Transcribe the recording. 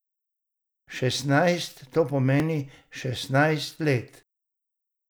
Šestnajst, to pomeni šestnajst let.